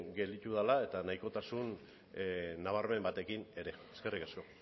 gelditu dela eta nahikotasun nabarmen batekin ere eskerrik asko